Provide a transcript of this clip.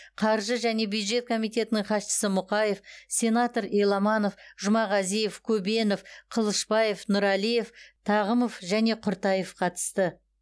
қаржы және бюджет комитетінің хатшысы мұқаев сенатор еламанов жұмағазиев көбенов қылышбаев нұралиев тағымов және құртаев қатысты